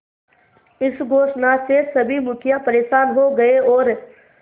इस घोषणा से सभी मुखिया परेशान हो गए और